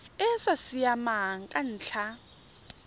e sa siamang ka ntlha